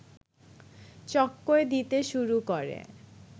চক্কর দিতে শুরু করে